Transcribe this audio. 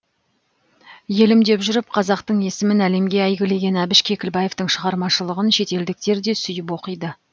елім деп жүріп қазақтың есімін әлемге әйгілеген әбіш кекілбаевтың шығармашылығын шетелдіктер де сүйіп оқиды